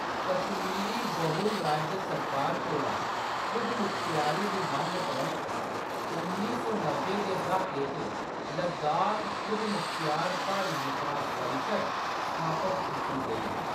कश्मीरी बहुल राज्य सरकार कोला खुदमुखत्यारी दी मंग परैंत्त, उन्नी सौ नब्बै दे द्हाके च लद्दाख खुदमुखत्यार प्हाड़ी विकास परिशद् स्थापत कीती गेई ही।